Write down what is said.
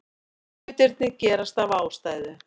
Hlutirnir gerast af ástæðu.